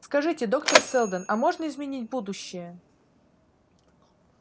скажите доктор сэлдон а можно изменить будущее